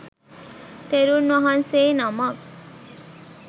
තෙරුන් වහන්සේ නමක්